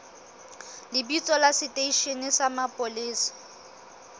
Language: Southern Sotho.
lebitso la seteishene sa mapolesa